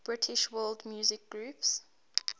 british world music groups